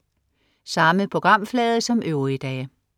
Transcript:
Samme programflade som øvrige dage